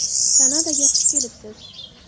Kanadaga xush kelibsiz!